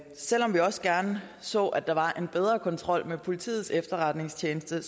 selv om vi også gerne så at der var en bedre kontrol med politiets efterretningstjeneste